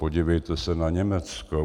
Podívejte se na Německo.